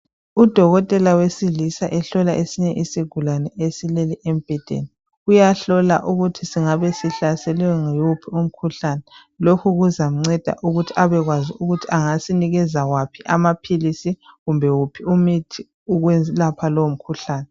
Udokotela wesilisa ehlola esinye isigulane esilele embhedeni. Uyahlola ukuthi singabe sihlaselwe yiwuphi umkhuhlane. Lokhu kuzamnceda ukuthi abekwazi ukuthi angasinikeza waphi amaphilisi kumbe wuphi umuthi ukwelapha lowo mikhuhlane.